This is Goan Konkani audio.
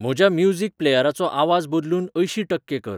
म्हज्या म्युजिक प्लेयराचो आवाज बदलून अंयशी टक्के कर